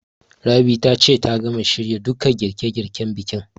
Rabi ta ce ta gama shirya duka girƙe girƙen bikin